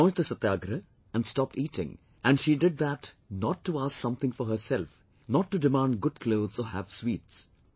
She launched the Satyagrah and stopped eating and she did that not to ask something for herself, not to demand good clothes or have sweets